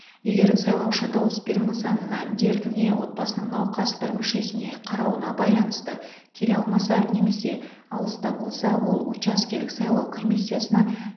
егер сайлаушы дауыс беру нысанына дертіне отбасының науқас бір мүшесіне қарауына байланысты келе алмаса немесе алыста болса ол учаскелік сайлау комиссиясына